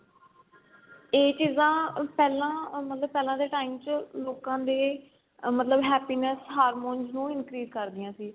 ਇਹ ਚੀਜ਼ਾਂ ਪਹਿਲਾਂ ਮਤਲਬ ਪਹਿਲਾਂ ਦੇ time ਚ ਲੋਕਾ ਦੇ ਮਤਲਬ happiness hormones ਨੂੰ increase ਕਰਦੀਆਂ ਸੀ